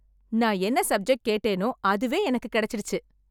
நான் என்ன சப்ஜெக்ட் கேட்டேனோ அதுவே எனக்கு கிடைச்சிடுச்சு